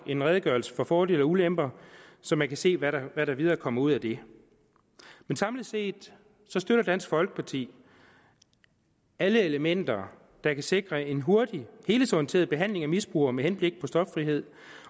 en redegørelse om fordele og ulemper så man kan se hvad der hvad der videre kommer ud af det men samlet set støtter dansk folkeparti alle elementer der kan sikre en hurtig helhedsorienteret behandling af misbrugere med henblik på stoffrihed